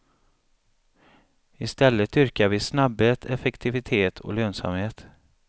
I stället dyrkar vi snabbhet, effektivitet och lönsamhet.